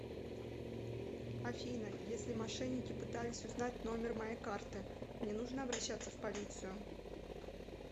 афина если мошенники пытались узнать номер моей карты мне нужно обращаться в полицию